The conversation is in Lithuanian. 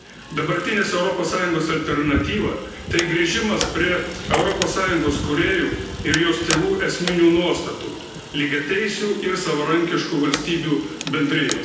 Dabartinės Europos Sąjungos alternatyva tai grįžimas prie Europos Sąjungos kūrėjų ir jos tėvų esminių nuostatų lygiateisių ir savarankiškų valstybių bendrijos.